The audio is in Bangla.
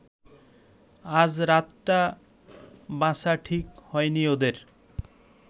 আজ রাতটা বাছা ঠিক হয়নি ওদের